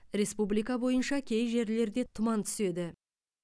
республика бойынша кей жерлерде тұман түседі